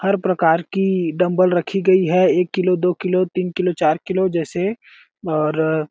हर प्रकार की डंबल रखी गई है एक किलो दो किलो तीन किलो चार किलो जैसे और --